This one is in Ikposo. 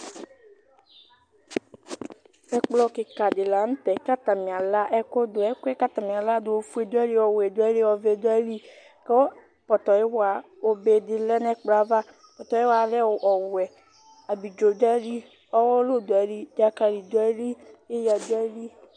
Ɛkplɔ kɩka dɩ la nʋ tɛ katanɩ ala ɛkʋ dʋ ,ɛkʋɛ k'atanï aladʋ ofue dʋ ayili ,ɔwɛ dʋ ayili ɔvɛ dʋ ayili Kʋ pɔtɔyɩwa obe dɩ lɛ n'ɛkplɔɛ ava Pɔtɔyɩwaɛ lɛ ɔwɛ Abidzo dʋ ayili ,ɔwʋlʋ dʋ ayili dzakalɩ dʋ ayili ɩɣa dʋ ayili